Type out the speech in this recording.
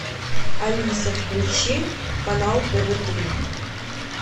алиса включи канал тв три